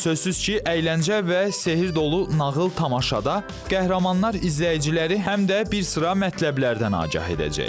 Sözsüz ki, əyləncə və sehr dolu nağıl tamaşada qəhrəmanlar izləyiciləri həm də bir sıra mətləblərdən agah edəcək.